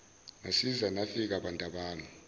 nasiza nafika bantabami